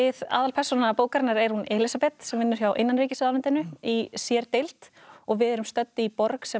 aðalpersóna bókarinnar er hún Elísabet sem vinnur hjá innanríkis ráðuneytinu í sérdeild og við erum stödd í borg sem